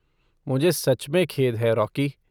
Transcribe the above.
मुझे सच में खेद है रॉकी।